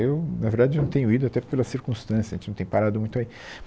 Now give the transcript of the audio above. Eu, na verdade, eu não tenho ido, até pela circunstância, a gente não tem parado muito aí.